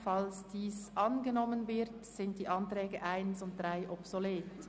Falls dieser angenommen wird, sind die Planungserklärungen 1 und 3 obsolet.